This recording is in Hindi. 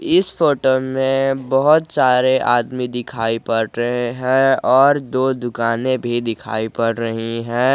इस फोटो में बहुत सारे आदमी दिखाई पड़ रहे है और दो दुकान भी दिखाई पड़ रही है।